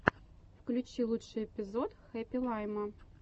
включи лучший эпизод хэппи лайма